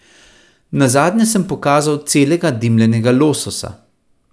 Nazadnje sem pokazal celega dimljenega lososa.